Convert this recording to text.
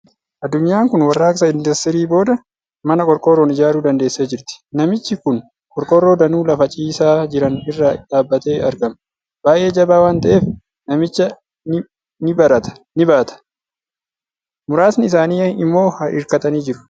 Addunyaan kun warraaqsa Industirii booda mana qorqoorroon ijaaruu dandeessee jirti. Namichi kun qorqoorroo danuu lafa ciisaa jiran irra dhaabatee argama. Baay'ee jabaa waan ta'eef, namicha ni baata! Muraaasni isaanii immoo hirkatanii jiru.